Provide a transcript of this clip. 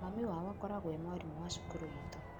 Mami wao akoragwo e mwarimũ wa cukuru itũ.